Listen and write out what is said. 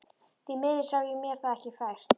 Því miður sá ég mér það ekki fært.